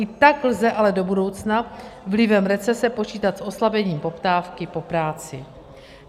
I tak lze ale do budoucna vlivem recese počítat s oslabením poptávky po práci.